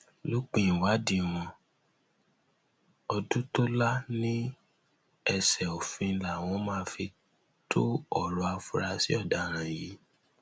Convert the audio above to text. lópin ìwádìí wọn ọdùtòlà ní ẹsẹ òfin làwọn máa fi to ọrọ àfúrásì ọdaràn yìí